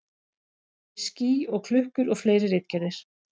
Ský og klukkur og fleiri ritgerðir.